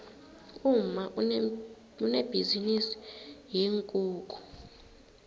umma unebhizinisi yeenkukhu